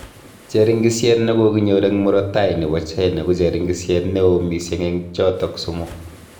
Cheringisyet ne koginyor eng murotai nebo China ko cheringisyet neoo missing eng chotok somok